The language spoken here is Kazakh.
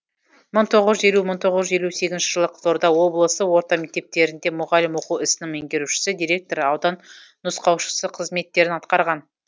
мың тоғыз жүз елу мың тоғыз жүз елу сегізінші жылы қызылорда облысы орта мектептерінде мұғалім оқу ісінің меңгерушісі директоры аудан нұсқаушысы қызметтерін атқарған